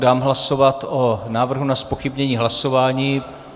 Dám hlasovat o návrhu na zpochybnění hlasování.